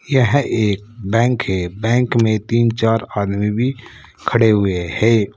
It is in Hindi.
यह एक बैंक है बैंक में तीन चार आदमी भी खड़े हुए हैं।